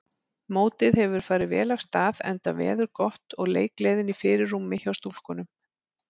Mótið hefur farið vel af stað enda veður gott og leikgleðin í fyrirrúmi hjá stúlkunum.